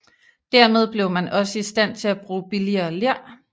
Dermed blev man også i stand til at bruge billigere ler